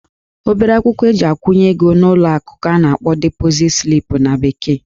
Obere akwụkwọ eji akwụnye ego n'ụlọ akụ ka a na-akpọ deposit slip na bekee